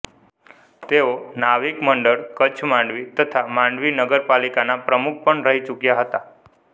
તેઓ નાવિક મંડળ કચ્છમાંડવી તથા માંડવી નગરપાલિકાના પ્રમુખ પણ રહી ચુક્યા હતા